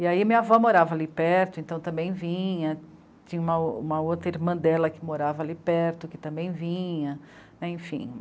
E aí minha avó morava ali perto, então também vinha, tinha uma, uma outra irmã dela que morava ali perto, que também vinha, enfim.